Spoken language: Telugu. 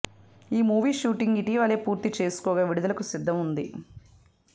ఈమూవీ షూటింగ్ ఇటివలే పూర్తి చేసుకోగా విడుదలకు సిద్దంగా ఉంది